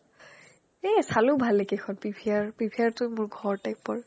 এ চালো ভালেকৈখন PVR PVRটো মোৰ ঘৰ type ৰ